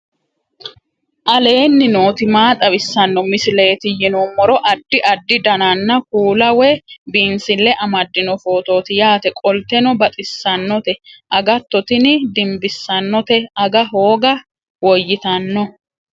aleenni nooti maa xawisanno misileeti yinummoro addi addi dananna kuula woy biinsille amaddino footooti yaate qoltenno baxissannote agatto tini dimbissannote aga hooga woyitanno